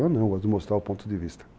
Eu não, eu gosto de mostrar o ponto de vista.